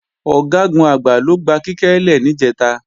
Ọ̀gágun-Àgbá ló gba Kíkẹ́ lè níjẹ̀ta